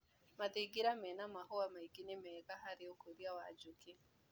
Mathingira mena mahũa maingĩ nĩmega harĩ ũkũria wa njukĩ.